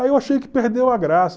Aí eu achei que perdeu a graça.